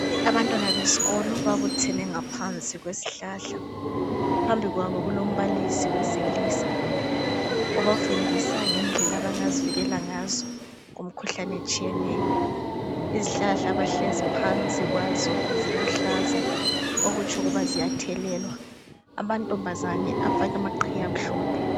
Abantwana besikolo babuthene ngaphansi kwesihlahla phambi kwabo kulombalisi wesilisa obufundisa ngendlela abangazivikela ngazo kumkhuhlane etshiyeneyo, izihlahla abahlezi phansi kwazo ziluhlaza okutsho ukuba ziyathelelwa amantombazana afake amaqhiye amahlophe.